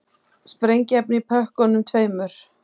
Sprengiefni í pökkunum tveimur